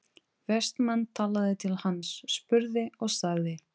Vestmann talaði til hans, spurði og sagði